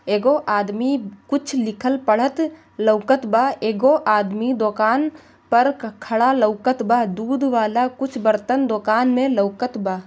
एगो आदमी कुछ लिखल पढ़त लोकत बा एगो आदमी दोकान पर खड़ा लोकत बा दुध वाला कुछ बर्तन दोकान मे लोकत बा।